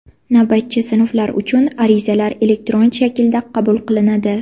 Navbatchi sinflar uchun arizalar elektron shaklda qabul qilinadi.